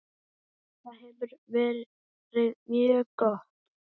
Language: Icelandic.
Þetta hefur verið mjög gott.